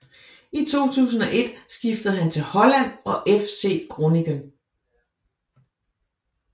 I 2001 skiftede han til Holland og FC Groningen